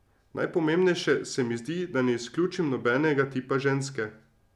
Najpomembnejše se mi zdi, da ne izključim nobenega tipa ženske.